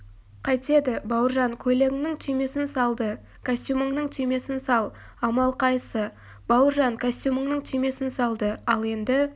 қайтеді бауыржан көйлегінің түймесін салды костюміңнің түймесін сал амал қайсы бауыржан костюмінің түймесін салды ал енді